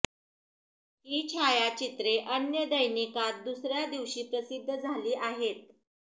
ही छायाचित्रे अन्य दैनिकात दुसर्या दिवशी प्रसिद्ध झाली आहेत